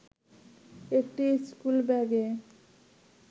একটি স্কুল ব্যাগে